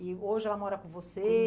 E hoje ela mora com você?